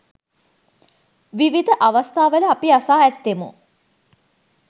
විවිධ අවස්ථාවල අපි අසා ඇත්තෙමු.